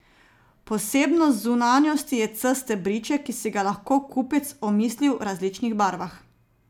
Posebnost zunanjosti je C stebriček, ki si ga lahko kupec omisli v različnih barvah.